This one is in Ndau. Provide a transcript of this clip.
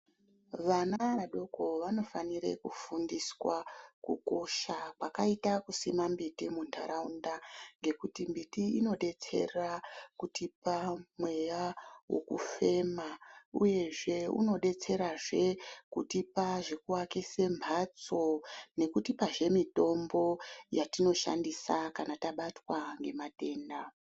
Vana vadoko vanofanire kufundiswa kukosha kwakaita Kusima mbiti muntaraunda ngekuti mbiti Inodetsera kutipa mweya wokufema uyezve unodetserazve kutipa zvekuakise mhatso nekutipazve mitombo yatinoshandisa kana tabatwa ngematenda.